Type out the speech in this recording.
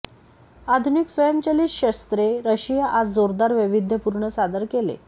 आधुनिक स्वयंचलित शस्त्रे रशिया आज जोरदार वैविध्यपूर्ण सादर केले